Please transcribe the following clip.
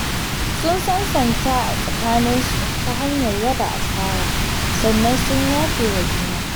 Sun sansanta a tsakaninsu ta hanyar raba asara, sannan sun yafe wa juna.